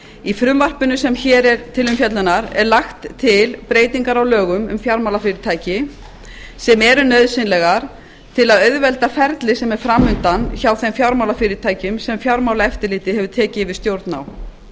í frumvarpinu sem hér er til umfjöllunar eru lagðar til breytingar á lögum um fjármálafyrirtæki sem eru nauðsynlegar til að auðvelda ferli sem er framundan hjá þeim fjármálafyrirtækjum sem fjármálaeftirlitið hefur tekið yfir stjórn á